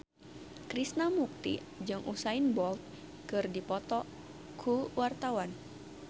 Krishna Mukti jeung Usain Bolt keur dipoto ku wartawan